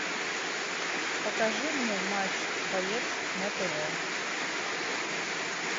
покажи мне матч боец на тв